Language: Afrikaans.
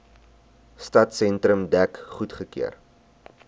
stadsentrum dek goedgekeur